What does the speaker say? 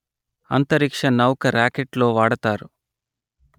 అంతరిక్ష నౌక రాకెట్ లో వాడతారు